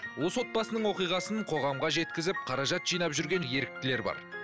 осы отбасының оқиғасын қоғамға жеткізіп қаражат жинап жүрген еріктілер бар